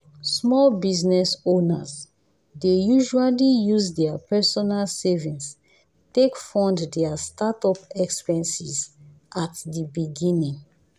small business owners dey usually use their personal savings take fund their startup expenses at the beginning.